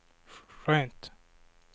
skönt